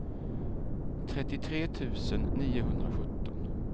trettiotre tusen niohundrasjutton